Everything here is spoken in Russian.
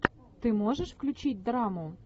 ты можешь включить драму